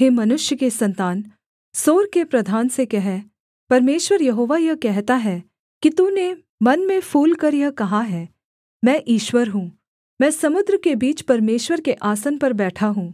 हे मनुष्य के सन्तान सोर के प्रधान से कह परमेश्वर यहोवा यह कहता है कि तूने मन में फूलकर यह कहा है मैं ईश्वर हूँ मैं समुद्र के बीच परमेश्वर के आसन पर बैठा हूँ